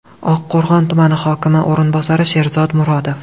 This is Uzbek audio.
Oqqo‘rg‘on tumani hokimi o‘rinbosari Sherzod Murodov.